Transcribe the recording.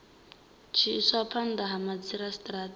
tshi iswa phanda ha madzhisitarata